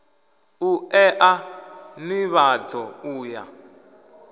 u ea nivhadzo u ya